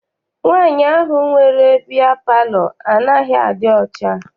Nwaanyi ahụ nwere bịya palọ anaghị adị ọcha.